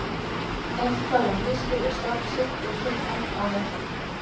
Eitthvað að misskilja starf sitt og tilgang á vellinum.